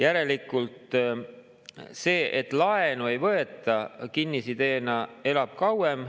Järelikult see, et laenu ei võeta, elab kinnisideena kauem.